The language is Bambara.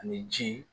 Ani ji